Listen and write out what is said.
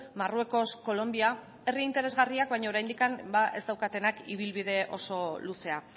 marruekos kolonbia herri interesgarriak baina oraindik ez daukatenak ibilbide oso luzea